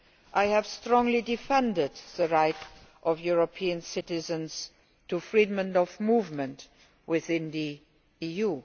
I have strongly defended the right of European citizens to freedom of movement within the